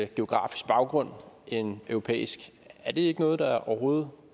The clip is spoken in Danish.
geografisk baggrund end europæisk er det ikke noget der overhovedet